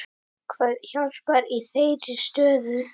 Hvað hjálpar í þeirri stöðu?